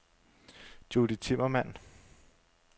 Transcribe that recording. Judy Timmermann